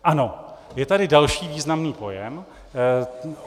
Ano, je tady další významný pojem.